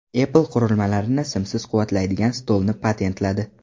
Apple qurilmalarni simsiz quvvatlaydigan stolni patentladi .